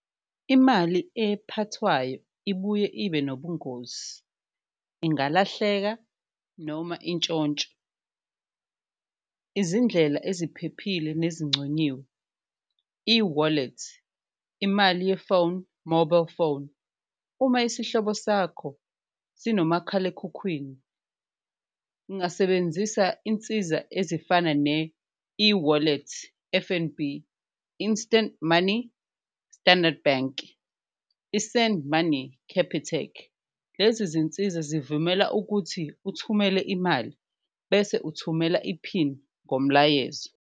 Imali ephathwayo ibuye ibe nobungozi, ingalahleka noma intshontsho, izindlela eziphephile nezinconyiwe eWallet, imali ye-phone mobile phone. Uma isihlobo sakho sinomakhalekhukhwini ungasebenzisa insiza ezifana ne-eWallet F_N_B, Instant Money, Standard Bank, i-Send Money, Capitec. Lezi zinsiza zivumela ukuthi uthumele imali bese uthumela iphini ngomlayezo.